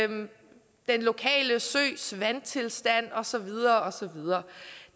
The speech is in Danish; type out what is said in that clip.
den lokale søs vandtilstand og så videre og så videre